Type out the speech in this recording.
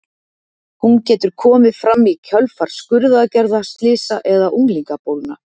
Hún getur komið fram í kjölfar skurðaðgerða, slysa eða unglingabólna.